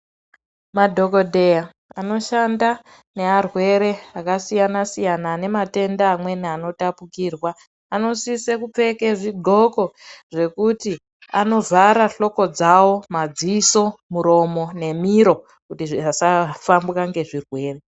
Madhogodheya anoshanda nearwere akasiyana-siyana ane matenda amweni anotapukirwa. Anosise kupfeke zvidhloko zvekuti anovhara hloko dzavo madziso, muromo nemiro kuti vasafamba ngezvirwere.